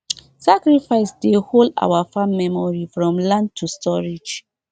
sacrifice dey hold our farm memory from land to storage